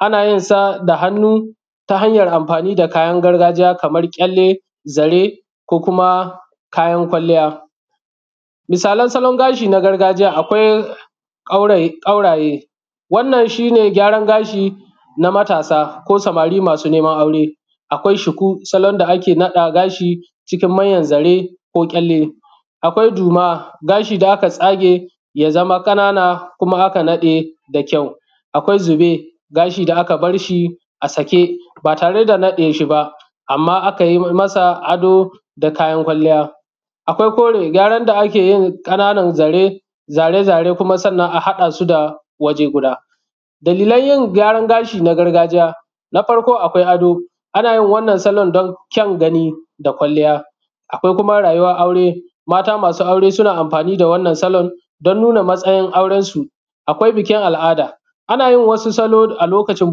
ana yinsa da hannu ta hanyar anfani da kayan gargajiya kaman kyalle zare ko kuma kayan kwalliya misalan salon gashi na gargajiya akwai kauraye kauraye wannan shine gyaran gashi na matasa ko samari masu neman aure akwai shuku salon da ake naɗa gashi cikin manyan zare ko kyelle akwai juma gashi da aka tsage ya zama kanana kuma aka nade da kyau a kwai zube gashi da aka barshi a sake ba tare da nade shi ba amma akayi masa ado da kayan kwalliya a kwai kore gyaran da akeyin kananan zare zare-zare sannan kuma a hadasu waje guda dalilan yin gyaran gashi na gargajiya na farko akwai ado ana yin wannan salon dan kyan gani da kwalliya a kwai kuma rayuwan aure mata masu aure suna anfani da wannan salon dan nuna matsayin auran su a kwai bikin al'ada anayin wasu salo a lokacin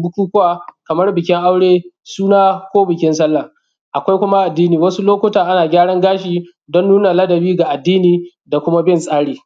bukukuwa kamar bikin aure suna ko bikin salla a kwai kuma addini wasu lokuta ana gyaran gashi dan nuna ladabi da addini da kuma bin tsari